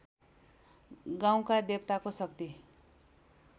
गाउँका देवताको शक्ति